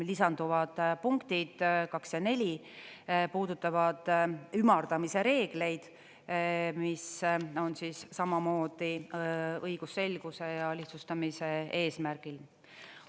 Lisanduvad punktid 2 ja 4 puudutavad ümardamise reegleid, mis on samamoodi õigusselguse ja lihtsustamise eesmärgil.